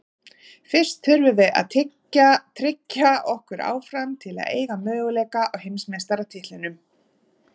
Fyrst þurfum við að tryggja okkur áfram til að eiga möguleika á heimsmeistaratitlinum.